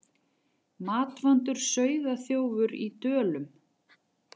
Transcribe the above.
Matvandur sauðaþjófur í Dölum